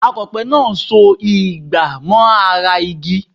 Akọ̀pẹ ń so ìgbà mọ́ ara igi